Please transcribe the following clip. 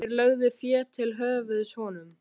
Þeir lögðu fé til höfuðs honum.